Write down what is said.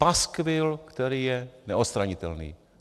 - Paskvil, který je neodstranitelný.